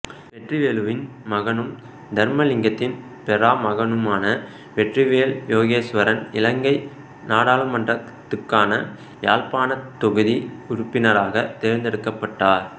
வெற்றிவேலுவின் மகனும் தர்மலிங்கத்தின் பெறாமகனுமான வெற்றிவேலு யோகேஸ்வரன் இலங்கை நாடாளுமன்றத்துக்கான யாழ்ப்பாணத் தொகுதி உறுப்பினராகத் தேர்தெடுக்கப்பட்டர்